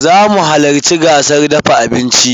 Zamu halacci gasar dafa abincin.